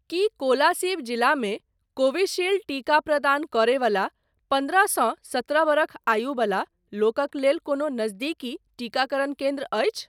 की कोलासिब जिलामे कोविशील्ड टीका प्रदान करय बला पन्द्रहसँ सत्रह बरख आयु बला लोकक लेल कोनो नजदीकी टीकाकरण केन्द्र अछि ?